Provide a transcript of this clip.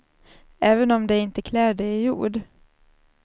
Även om de inte klär det i ord.